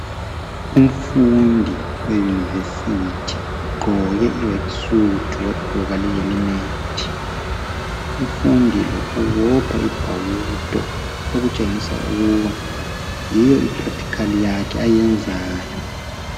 Umfundi we"University " ugqoke i"work suit " wagqoka le" helmet " umfundi lo ubopha ibhawudo okutshengisa ukuba yiyo I"practical" yakhe ayenzayo.